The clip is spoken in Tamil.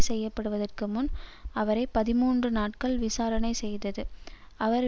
செய்ய படுவதற்கு முன் அவரை பதிமூன்று நாட்கள் விசாரணை செய்தது அவர்